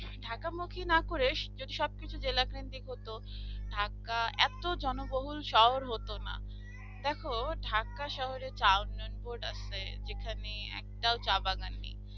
ঢাকা মুখে না করে যদি সবকিছু জেলা trending হতো ঢাকা এত জনবহুল শহর হতো না দেখো ঢাকা শহরের under এ যে যেখানে একটাও চা বাগান নেই